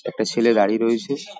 একটা ছেলে গাড়ি রয়েছে।